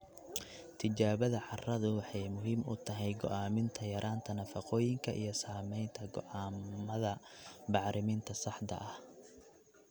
Tijaabada carradu waxay muhiim u tahay go'aaminta yaraanta nafaqooyinka iyo samaynta go'aamada bacriminta saxda ah.